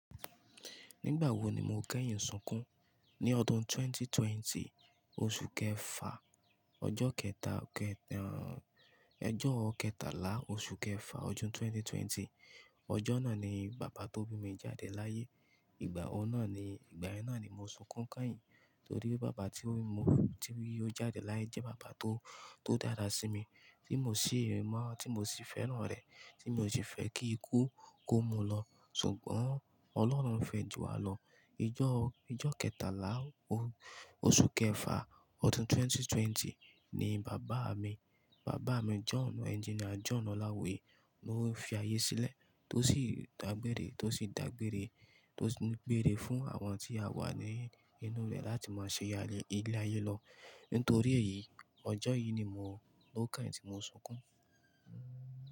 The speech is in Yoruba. Nígbà wo ni mo kẹ́yìn sunkún? Ni ọdún ẹgbẹ̀rún méjì ó lé ogún, oṣù kẹfà, ọjọ́ kẹtàlá, oṣù kẹfà, ọdún 2020. Ọjọ́ náà ni bàbá tó bí mi jáde láyé. Ìgbà yẹn náà ni mo sunkún kányìn. Torí bàbá tí ó jáde láyé jẹ́ bàbá tó dára sí mi, tí mo sì fẹ́ràn rẹ̀, tí mi ò sì fẹ́ kí ikú kó mú u lọ, ṣùgbọ́n Ọlọ́run fẹ́ ju wa lọ. Ojọ kẹtàlá, oṣù kẹfà, ọdún ẹgbẹ̀rún méjì ó lé ogún ni Bàbá mi John, engineer John olawuye. To ń fi ayé sílẹ̀, tó sì dágbére fún àwọn tí a wà ní inú rẹ̀ láti máa ṣe ilé ayé lọ. Nítorí èyí, ọjọ́ ló kányìn tí mo sunkún.